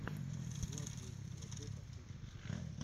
влад девять вэтэ последний эпизод